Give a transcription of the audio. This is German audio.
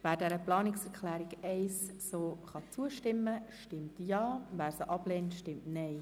Wer der Planungserklärung zustimmen kann, stimmt Ja, wer diese ablehnt, stimmt Nein.